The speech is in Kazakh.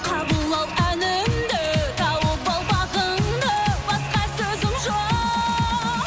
қабыл ал әнімді тауып ал бағыңды басқа сөзім жоқ